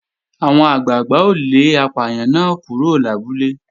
Àwọn àgbàgbà ó lé apàyàn náà kúrò lábúlé